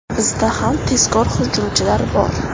Bizda ham tezkor hujumchilar bor.